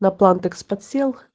на плантекс подсел